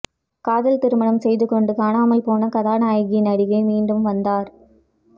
காதல் திருமணம் செய்து கொண்டு காணாமல்போன கதாநாயகி நடிகை மீண்டும் வந்தார்